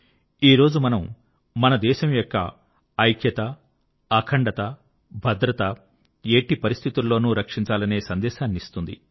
ఈ రోజు మనము మన దేశం యొక్క ఐక్యత అఖండత భద్రత ఎట్టి పరిస్థితులలోనూ రక్షించాలనే సందేశాన్నిస్తుంది